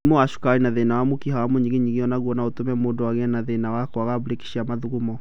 Mũrimũ wa cukari na thĩna wa mũkiha wa mũnyiginyigi o naguo no ũtũme mũndũ agĩe na thĩnawa kwaga brĩki cia mathugumo